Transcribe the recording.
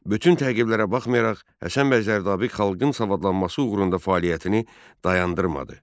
Bütün təqiblərə baxmayaraq Həsən bəy Zərdabi xalqın savadlanması uğrunda fəaliyyətini dayandırmadı.